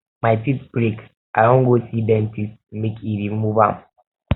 my teeth break i wan go see dentist make e remove am